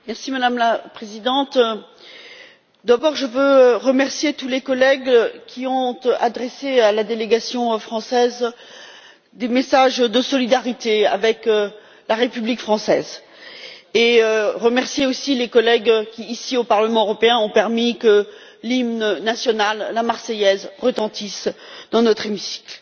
Madame la Présidente, je veux d'abord remercier tous les collègues qui ont adressé à la délégation française des messages de solidarité avec la République française et remercier aussi les collègues qui, ici, au Parlement européen, ont permis que l'hymne national, la Marseillaise, retentisse dans notre hémicycle.